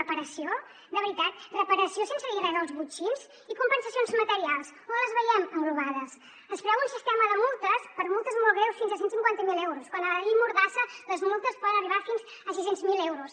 reparació de veritat reparació sense dir res dels botxins i compensacions materials on les veiem englobades es preveu un sistema de multes per a multes molt greus fins a cent i cinquanta miler euros quan a la llei mordassa les multes poden arribar fins a sis cents miler euros